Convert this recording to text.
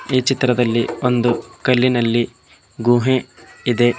ಈ ಚಿತ್ರದಲ್ಲಿ ಒಂದು ಕಲ್ಲಿನಲ್ಲಿ ಗುಹೆ ಇದೆ.